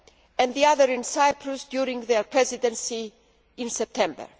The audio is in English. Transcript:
and the other in Cyprus during their Presidency in September.